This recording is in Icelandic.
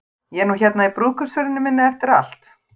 Ég er nú hérna í brúðkaupsferðinni minni eftir allt.